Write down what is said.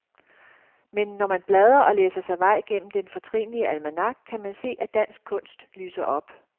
Men når man bladrer og læser sig vej gennem den fortrinlige almanak, kan man se, at dansk kunst lyser op.